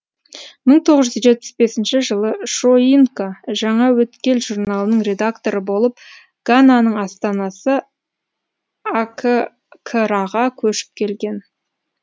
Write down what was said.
мың тоғыз жүз жетпіс бесінші жылы шойинка жаңа өткел журналының редакторы болып гананың астанасы а к краға көшіп келген